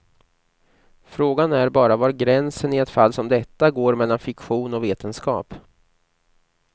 Frågan är bara var gränsen i ett fall som detta går mellan fiktion och vetenskap.